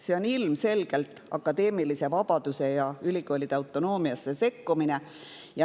See on ilmselgelt akadeemilisse vabadusse ja ülikoolide autonoomiasse sekkumine.